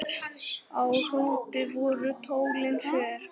Á Hrúti voru tólin sver.